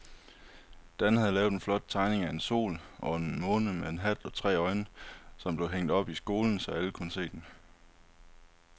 Dan havde lavet en flot tegning af en sol og en måne med hat og tre øjne, som blev hængt op i skolen, så alle kunne se den.